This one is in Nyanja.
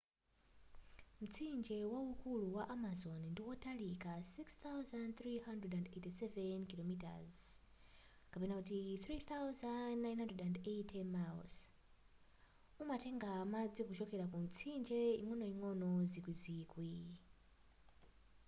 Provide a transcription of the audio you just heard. mtsinje waukulu wa amazon ndiwotalika 6,387 km 3,980 miles. umatenga madzi kuchokera ku mitsinje ing'onoing'ono zikwizikwi